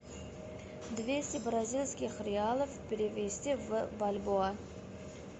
двести бразильских реалов перевести в бальбоа